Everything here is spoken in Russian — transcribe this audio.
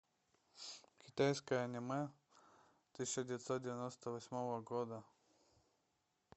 китайское аниме тысяча девятьсот девяносто восьмого года